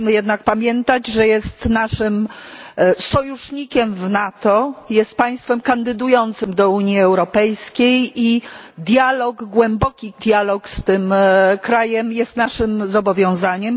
Musimy jednak pamiętać, że jest naszym sojusznikiem w NATO, jest państwem kandydującym do Unii Europejskiej i dialog, głęboki dialog z tym krajem, jest naszym obowiązkiem.